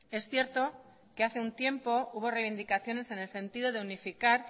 es cierto que hace un tiempo hubo reivindicaciones en el sentido de unificar